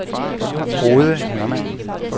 Frode Hermann